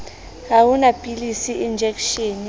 ha ho na pilisi enjekeshene